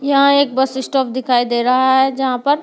यहां एक bus stop दिखाई दे रहा है जहां पर--